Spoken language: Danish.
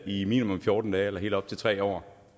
i minimum fjorten dage eller helt op til tre år